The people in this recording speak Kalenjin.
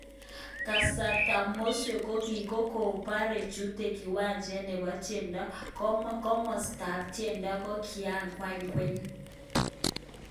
Kasarta Mowzey kokopore chute kiwanjet nepo tiendo, komostap tiendo kokia kwany kweng